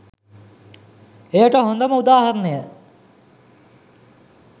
එයට හොඳම උදාහරණය